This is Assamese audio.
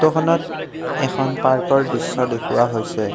ফটোখনত এখন পাৰ্কৰ দৃশ্য দেখুওৱা হৈছে।